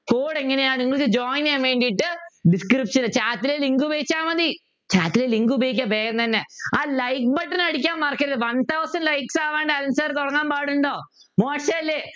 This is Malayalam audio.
Code ങ്ങിനെയാണ് നിങ്ങൾക്ക് Join ചെയ്യാൻ വേണ്ടിയിട്ട് description chat ലെ Link ഉപയോഗിച്ചാൽ മതി chat ലെ Link ഉപയോഗിക്കുക വേഗം തന്നെ ആ like button അടിക്കാൻ മറക്കരുത് one Thousand likes ആവാണ്ട് അനിൽ Sir നു തോന്നാൻ പാടുണ്ടോ മോശമല്ലേ